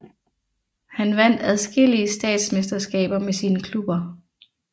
Han vandt adskillige statsmesterskaber med sine klubber